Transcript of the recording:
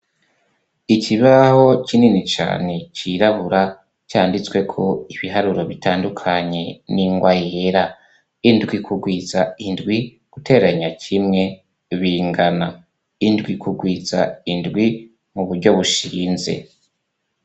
Ikibaho kinini cane cirabura canditswe ko ibiharuro bitandukanye ni ngoa yera indwi kugwiza indwi guteranya cimwe bingana indwi kugwiza indwi mu buryo bushinze.